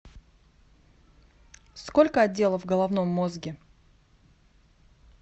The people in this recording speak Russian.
сколько отделов в головном мозге